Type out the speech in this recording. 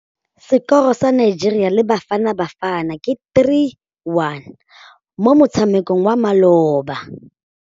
Sekôrô sa Nigeria le Bafanabafana ke 3-1 mo motshamekong wa malôba.